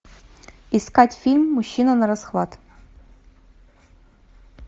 искать фильм мужчина на расхват